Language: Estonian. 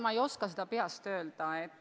Ma ei oska seda peast öelda.